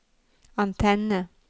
antenne